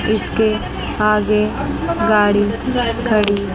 इसके आगे गाड़ी खड़ी--